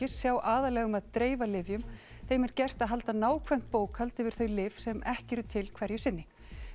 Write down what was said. sjá aðallega um að dreifa lyfjum þeim er gert að halda nákvæmt bókhald yfir þau lyf sem ekki eru til hverju sinni